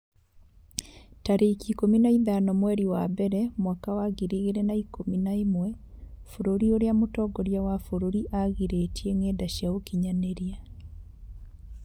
tarĩki ikũmi na ithano mweri wa mbere mwaka wa ngiri igĩrĩ na ikũmi na ĩmwe Bũrũri ũrĩa mũtongoria wa bũrũri aagirĩtie ngenda cia ũkinyanĩria